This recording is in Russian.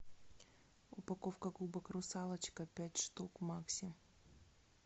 упаковка губок русалочка пять штук макси